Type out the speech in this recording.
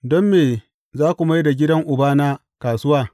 Don me za ku mai da gidan Ubana kasuwa!